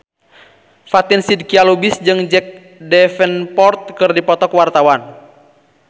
Fatin Shidqia Lubis jeung Jack Davenport keur dipoto ku wartawan